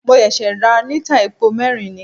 Mo ṣẹ̀ṣẹ̀ ra lítà epo mẹ́rin ni.